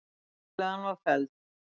Tillagan var felld.